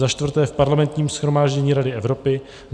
za čtvrté v Parlamentním shromáždění Rady Evropy;